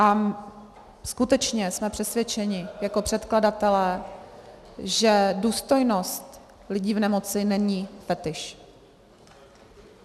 A skutečně jsme přesvědčeni jako předkladatelé, že důstojnost lidí v nemoci není fetiš.